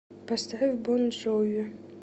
поставь бон джови